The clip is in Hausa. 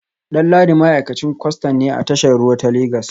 Danladi ma’aikacin kwastan ne a tashar ruwa ta Legas